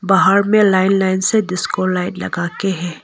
बाहर में line line से लाइट लगाके हैं।